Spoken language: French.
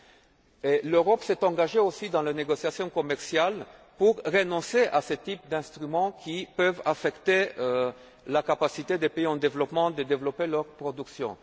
Si l'Europe s'est engagée dans la négociation commerciale, c'est aussi pour renoncer à ce type d'instruments qui peut affecter la capacité des pays en développement à développer leur production.